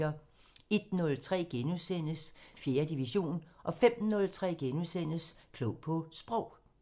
01:03: 4. division * 05:03: Klog på Sprog *